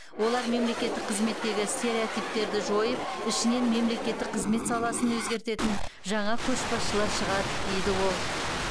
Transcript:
олар мемлекеттік қызметтегі стереотиптерді жойып ішінен мемлекеттік қызмет саласын өзгертетін жаңа көшбасшылар шығады дейді ол